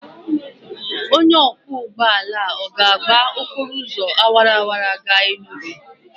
Onye ọkwọ ụgbọala ọ ga-agba okporo ụzọ awara awara gaa Enugwu?